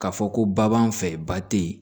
K'a fɔ ko ba b'an fɛ ba te yen